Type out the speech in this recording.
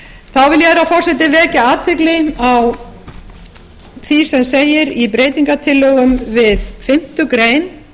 vil ég herra forseti vekja athygli á því sem segir í breytingartillögum við fimmtu grein